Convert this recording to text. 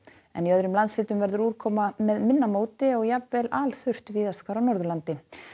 en í öðrum landshlutum verður úrkoma með minna móti og jafnvel víðast hvar á Norðurlandi